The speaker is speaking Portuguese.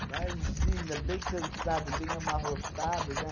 Imagina, bem cansado, bem amarrotado, né?